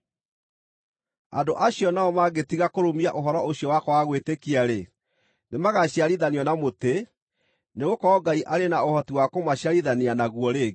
Andũ acio nao mangĩtiga kũrũmia ũhoro ũcio wa kwaga gwĩtĩkia-rĩ, nĩmagaciarithanio na mũtĩ, nĩgũkorwo Ngai arĩ na ũhoti wa kũmaciarithania naguo rĩngĩ.